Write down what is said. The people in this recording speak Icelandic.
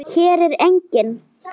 Hér er enginn.